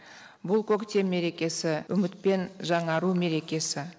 бұл көктем мерекесі үміт пен жаңару мерекесі